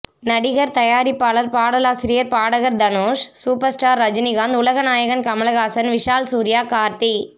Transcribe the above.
நடிகர் தயாரிப்பாளர் பாடலாசிரியர் பாடகர் தனுஷ் சுப்பர் ஸ்டார் ரஜினிகாந்த் உலக நாயகன் கமல்ஹாசன் விஷால் சூர்யா கார்த்தி